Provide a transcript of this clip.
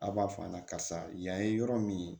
A b'a fɔ an ɲɛna karisa yan ye yɔrɔ min ye